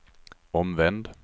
omvänd